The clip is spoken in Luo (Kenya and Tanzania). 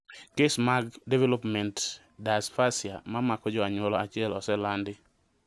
Kes mag development dysphasia mamako jo anyuola achiel oselandi